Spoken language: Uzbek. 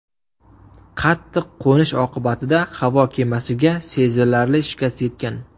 Qattiq qo‘nish oqibatida havo kemasiga sezilarli shikast yetgan.